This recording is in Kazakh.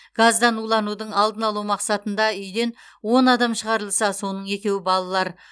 газдан уланудың алдын алу мақсатында үйден он адам шығарылса соның екеуі балалар